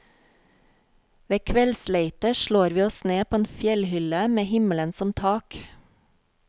Ved kveldsleite slår vi oss ned på en fjellhylle med himmelen som tak.